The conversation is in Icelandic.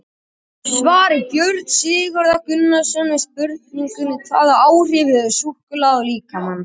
Í svari Björns Sigurðar Gunnarssonar við spurningunni Hvaða áhrif hefur súkkulaði á líkamann?